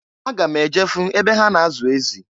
Aga m eje fụ ebe ha na-azụ ezị.